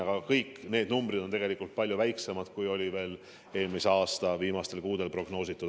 Aga kõik need numbrid on tegelikult palju väiksemad, kui eelmise aasta viimastel kuudel prognoositi.